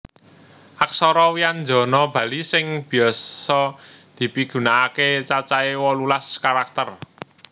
Aksara wyanjana Bali sing biasa dipigunakaké cacahé wolulas karakter